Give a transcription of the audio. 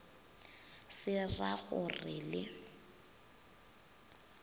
se ra go re le